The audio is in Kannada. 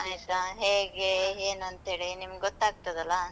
ಆಯ್ತಾ ಹೇಗೆ, ಏನಂತ ಹೇಳಿ, ನಿಮ್ಗ್ ಗೊತ್ತಾಗ್ತದಲ್ಲ?